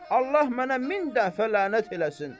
Allah mənə min dəfə lənət eləsin.